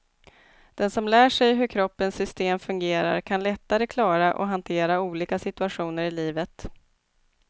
Den som lär sig hur kroppens system fungerar kan lättare klara och hantera olika situationer i livet.